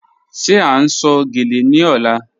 Ṣé à n sọ̀ gẹ́lẹ̀ ní ọ̀là?